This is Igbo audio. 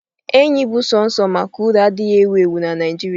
Enyi bụ sọsọ maka uru adịghị ewu ewu na Naijiria.